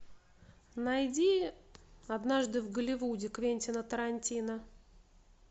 найди однажды в голливуде квентина тарантино